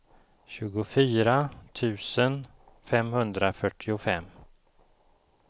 tjugofyra tusen femhundrafyrtiofem